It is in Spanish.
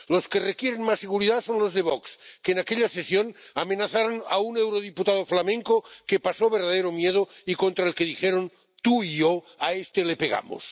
Los que requieren más seguridad son los de VOX, que en aquella sesión amenazaron a un eurodiputado flamenco, que pasó verdadero miedo, y al que dijeron tú y yo a este le pegamos.